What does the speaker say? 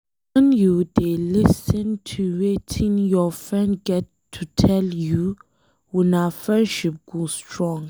wen you dey lis ten to Wetin your friend get to tell you una friendship go strong.